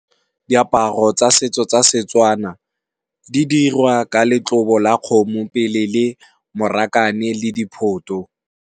Diaparo tsa setso tsa Setswana, di dirwa ka letlobo la kgomo pele le morakane le diphoto.